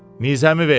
Mizəmi ver!